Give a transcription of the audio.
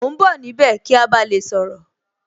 Mo ń bọ̀ níbẹ̀ kí a ba lè sọ̀rọ̀